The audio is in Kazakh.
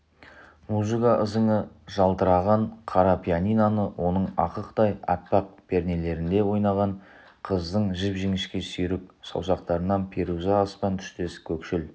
музыка ызыңы жалтыраған қара пианиноны оның ақықтай аппақ пернелерінде ойнаған қыздың жіп-жіңішке сүйрік саусақтарын перуза аспан түстес көкшіл